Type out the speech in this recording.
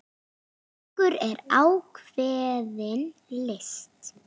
Söngur er ákveðin list.